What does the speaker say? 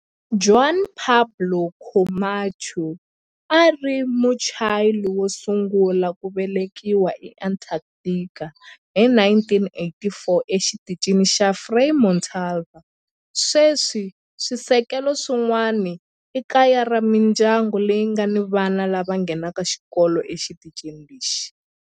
Juan Pablo Camacho a a ri Muchile wo sungula ku velekiwa eAntarctica hi 1984 eXitichini xa Frei Montalva. Sweswi swisekelo swin'wana i kaya ra mindyangu leyi nga ni vana lava nghenaka xikolo exitichini lexi.